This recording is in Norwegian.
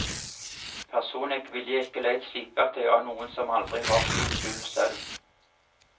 Personlig ville jeg ikke leid slipeverktøy av noen som aldri har slipt gulv selv.